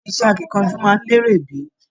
Ṣe iṣẹ akínkanjú máa n lere bi?